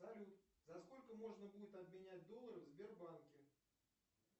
салют за сколько можно будет обменять доллары в сбербанке